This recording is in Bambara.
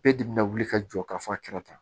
E de bɛna wuli ka jɔ ka fɔ a kɛra tan